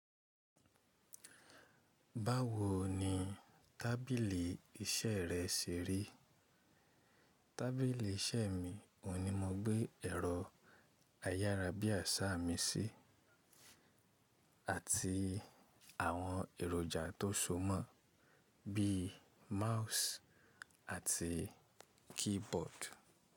Báwo ni tábìlì iṣẹ́ rẹ ṣe rí? Tábìlì iṣẹ́ mi, ohun ní mo gbé ẹ̀rọ ayárabíàsáà mi sí, àti àwọn èròjà tó so mọ́, bí i mouse àti keyboard.